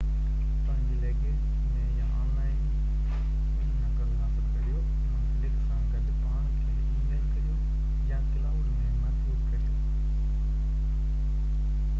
پنهنجي لگيج ۾ يا online ٻي نقل حاصل ڪريو منسلڪ سان گڏ پاڻ کي اي ميل ڪريو ، يا ڪلائوڊ ۾ محفوظ ڪريو.